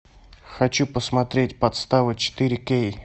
хочу посмотреть подстава четыре кей